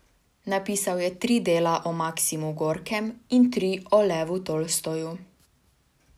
Napisal je tri dela o Maksimu Gorkem in tri o Levu Tolstoju.